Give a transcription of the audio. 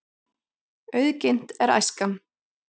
Auðginnt er æskan.